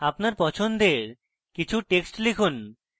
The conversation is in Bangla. আপনার পছন্দের কিছু text লিখুন